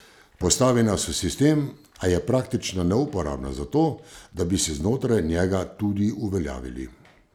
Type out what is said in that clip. Postavi nas v sistem, a je praktično neuporabna za to, da bi se znotraj njega tudi uveljavili.